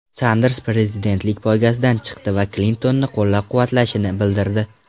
Sanders prezidentlik poygasidan chiqdi va Klintonni qo‘llab-quvvatlashini bildirdi.